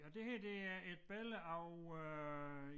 Og det her det er et billede af øh